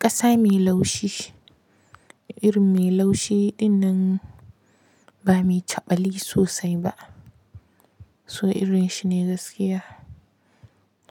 Ƙasa mai laushi, iri mai laushi ɗinnan ba mai caɓali sosai ba. So irin shi ne gaskiya